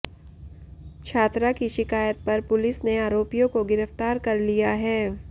छात्रा की शिकायत पर पुलिस ने आरोपियों को गिरफ्तार कर लिया है